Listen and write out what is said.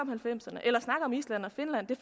om island og finland det